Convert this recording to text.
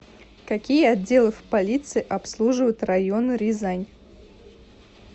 какие отделы в полиции обслуживают районы рязань